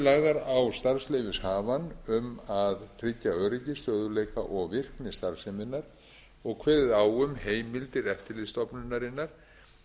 lagðar á starfsleyfishafann um að tryggja öryggi stöðugleika og virkni starfseminnar og kveðið á um heimildir eftirlitsstofnunarinnar